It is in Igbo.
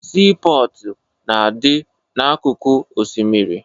Siipọọtụ na-adị n'akụkụ osimiri